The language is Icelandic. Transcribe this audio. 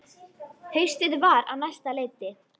Haustið var á næsta leiti.